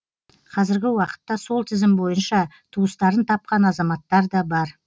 қазіргі уақытта сол тізім бойынша туыстарын тапқан азаматтар да бар